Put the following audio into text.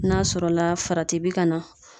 N'a sɔrɔ la farati bi ka na.